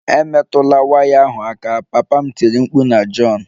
Emetụla waya ahụ aka! Papa m tiri mkpu na John